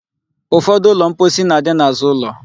Ụfọdụ ụlọ mposi na-adị n'azụ ụlọ.